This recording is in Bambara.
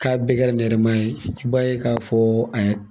K'a bɛɛ kɛ nɛrɛmugu ye i b'a ye k'a fɔ a